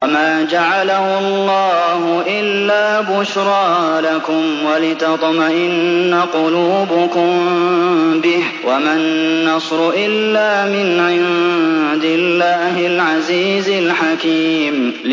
وَمَا جَعَلَهُ اللَّهُ إِلَّا بُشْرَىٰ لَكُمْ وَلِتَطْمَئِنَّ قُلُوبُكُم بِهِ ۗ وَمَا النَّصْرُ إِلَّا مِنْ عِندِ اللَّهِ الْعَزِيزِ الْحَكِيمِ